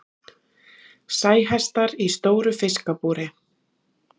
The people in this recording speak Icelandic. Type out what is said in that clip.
Sæhestar í stóru fiskabúri.